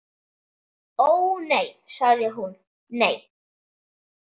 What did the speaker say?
Ó, nei sagði hún, nei.